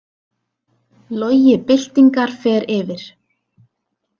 Logi byltingar fer yfir